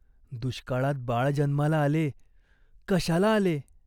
दुष्काळात बाळ जन्माला आले. कशाला आले ?